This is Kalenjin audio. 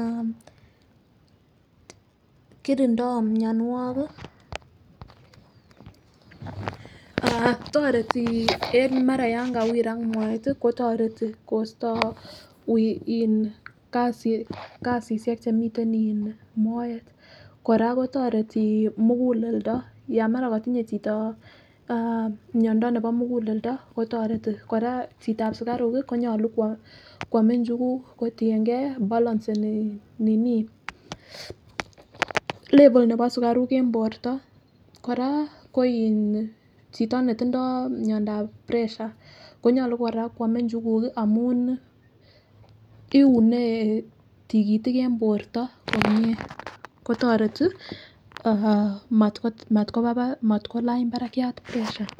ah korindo mionwokik ah toreti en mara yon kawirak moet tii kotoreti kosto wii in kasi kasishek chemiten en moet. Koraa kotoreti mukulendo yon mara kotinye chito miondo nebo mukuleldo kotoreti, Koraa chitab sukaruk kii konyolu kwome nchuku kotiyengee balanceni nini level nebo sukaruk en borto. Koraa ko in chito netindo miondap pressure konyolu koraa kwome nchukuk kii amun iune tikitik en borto nenyin kotoreti matko matkolany barakiat pressure.